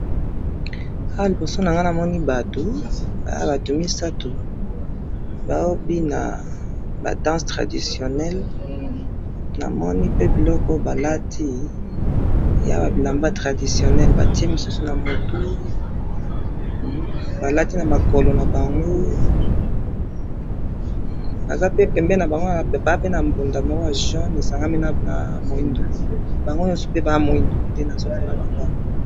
awa liboso na ngayi namoni batu batu misatu baho bina ba dance traditionnel na moni pe biloko oyo balati eya bilamba ya traditionnel batiye mosusu na mutu balati na mikolo nabango baza pe pembeni nabango baza pe na bounf=da ya jaune esangami na mwindu bango pe baza mwindu